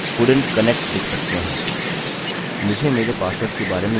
मुझे मेरे पासवर्ड के बारे में यकीन नहीं है मेरे ख्याल से यह कुछ और है